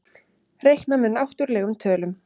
Reiknað með náttúrlegum tölum.